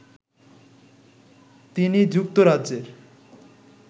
তিনি যুক্তরাজ্যের